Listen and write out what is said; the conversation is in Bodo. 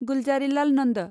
गुलजारीलाल नन्द